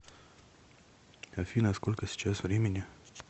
афина сколько сейчас времени